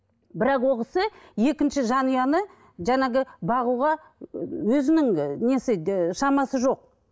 бірақ ол кісі екінші жанұяны жаңағы бағуға өзінің і несі ііі шамасы жоқ